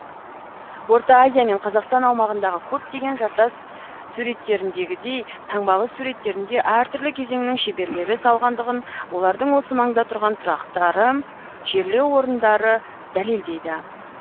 орта азия мен қазақстан аумағындағы көптеген жартас суреттеріндегідей таңбалы суреттерін де әртүрлі кезеңнің шеберлері салғандығын олардың осы маңда тұрған тұрақтары жерлеу орындары дәлелдейді